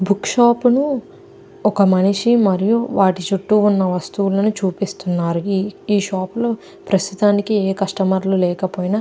ఈ book shop లో ఒక మనిషి మరియు వాటి చుట్టూ ఉన్న వస్తువులను చూపిస్తున్నారు. ఈ షాప్ లో ప్రస్తుతానికి ఏ కస్టమర్ లు లేకపోయినా --